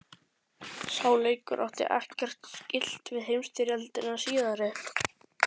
Sá leikur átti ekkert skylt við heimsstyrjöldina síðari.